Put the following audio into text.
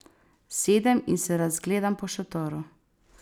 Sedem in se razgledam po šotoru.